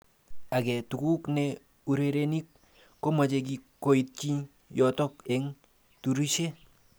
Age tuguk ne urerenik komeche koityi yoto eng turishe.